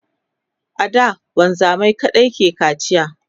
a da wanzamai kaɗai ke kacia